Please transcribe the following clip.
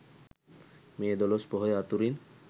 මේ දොළොස් පොහොය අතුරින්